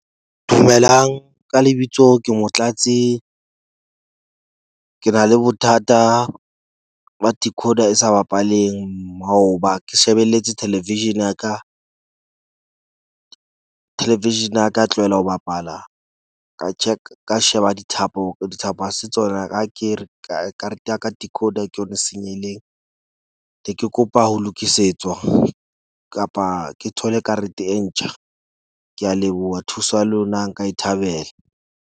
Dumelang, ka lebitso ke Motlatsi. Ke na le bothata ba decoder e sa bapaleng. Maoba ke shebelletse television ya ka, television ya ka ya tlohela ho bapala, ka check ka sheba dithapo. Dithapo ha se tsona akere ka karete ya ka tikoloho ke yona e senyehileng ne ke kopa ho lokisetswa kapa ke thole karete e ntjha. Ke a leboha thuso ya lona nka e thabela.